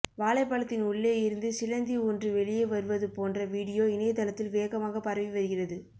வாழைப்பழத்தின் உள்ளே இருந்து சிலந்தி ஒன்று வெளியே வருவது போன்ற வீடியோ இணையதளத்தில் வேகமாக பரவி வருகிறது